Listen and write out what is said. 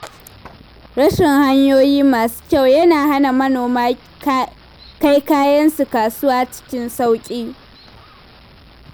Rashin hanyoyi masu kyau yana hana manoma kai kayansu kasuwa cikin sauƙi.